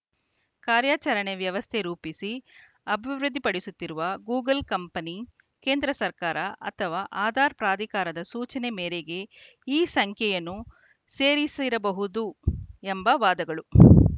ಕಾರ್ಯಾಚರಣೆ ವ್ಯವಸ್ಥೆ ರೂಪಿಸಿ ಅಭಿವೃದ್ಧಿಪಡಿಸುತ್ತಿರುವ ಗೂಗಲ್‌ ಕಂಪನಿ ಕೇಂದ್ರ ಸರ್ಕಾರ ಅಥವಾ ಆಧಾರ್‌ ಪ್ರಾಧಿಕಾರದ ಸೂಚನೆ ಮೇರೆಗೆ ಈ ಸಂಖ್ಯೆಯನ್ನು ಸೇರಿಸಿರಬಹುದು ಎಂಬ ವಾದಗಳು